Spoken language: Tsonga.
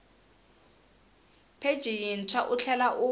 pheji yintshwa u tlhela u